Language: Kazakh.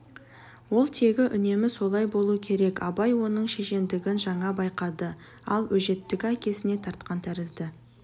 ол тегі үнемі солай болу керек абай оның шешендігін жаңа байқады ал өжеттігі әкесіне тартқан тәрізді